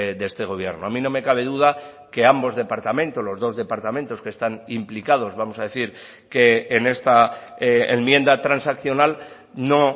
de este gobierno a mí no me cabe duda que ambos departamentos los dos departamentos que están implicados vamos a decir que en esta enmienda transaccional no